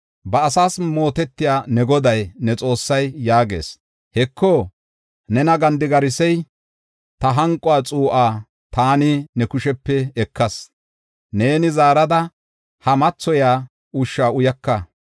“Ba asaas mootetiya ne Goday, ne Xoossay yaagees; Heko, nena gandigarisiya, ta hanqo xuu7aa taani ne kushepe ekas; neeni zaarada he mathoyiya ushsha uyaka.